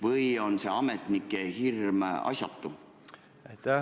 Või on see ametnike hirm asjatu?